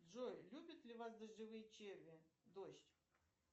джой любят ли вас дождевые черви дождь